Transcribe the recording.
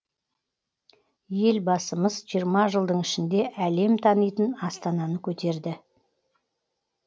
елбасымыз жиырма жылдың ішінде әлем танитын астананы көтерді